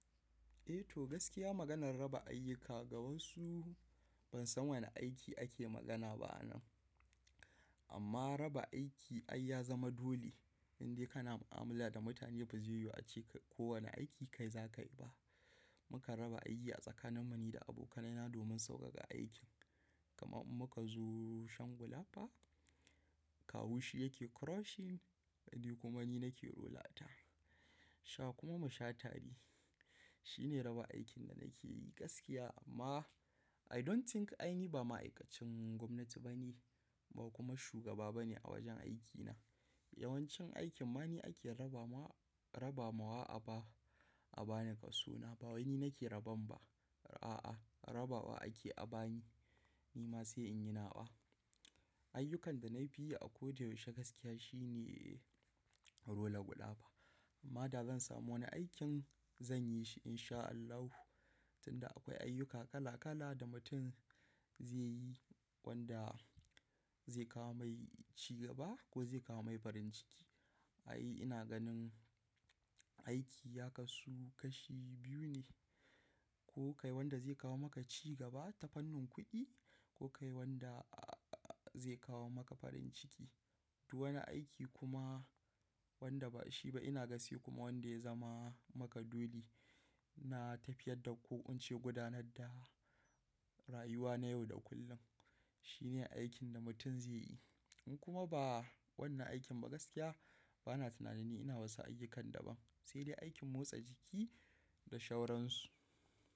Eh to gaskiya maganar raba ayyuka ga wasu ban san wane aiki ake magana ba a nan. Amma raba aiki ai ya zama dole in dai kana mu'amala da mutane bazai yiwu ace ko wane aiki kai za ka yi ba. Mukan raba aiki a tsakanin mu ni da abokaina na domin sauƙaƙa aikin. Kamar muka zo shan gulafa, Kawu shi yake crushing ni kuma ni nake rolata. Sha kuma musha tare. Shi ne raba aikin da nake yi gaskiya amma I don't think ai ni ba ma'aikacin gwamnati ba ne ba kuma shugaba ba ne a wajen aikina. Yawancin aikin mani ake raba ma, raba mawa a ba, a ba ni kaso na ba wani nake raban ba. A'a rabawa ake a ba ni, ni ma sai in yi nawa. Ayyukan da na fi yi a ko da yaushe gaskiya shi ne rola gulafa. Amma da zan samu wani aikin zan yi shi in sha Allah. Tunda akwai ayyuka kala kala da mutum zai yi wanda zai kawo mai cigaba ko zai kawo mai farin ciki. Ai ina ganin aiki ya kasu kashi biyu ne, ko kai wanda zai kawo maka cigaba ta fannin kuɗi ko kai wanda zai kawo maka farin ciki. Du wani aiki kuma wanda ba shi ba ina ga sai kuma wanda ya zama maka dole na tafiyar da ko ince gudanar da rayuwa na yau da kullum. Shi ne aikin da mutum zai yi. In kuma ba wannan aikin ba gaskiya bana tunanin ina wasu ayyukan da ba sai dai aikin motsa jiki da shauransu.